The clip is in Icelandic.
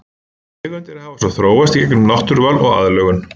Tegundir hafa svo þróast í gegnum náttúruval og aðlögun.